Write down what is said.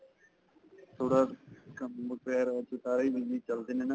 ਥੋੜਾ ਕੰਮ busy ਚਲਦੇ ਨੇ ਨਾ.